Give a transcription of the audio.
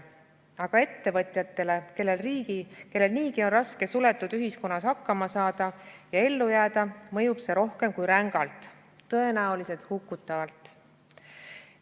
Aga ettevõtjatele, kellel niigi on raske suletud ühiskonnas hakkama saada ja ellu jääda, mõjub see rohkem kui rängalt, tõenäoliselt hukutavalt.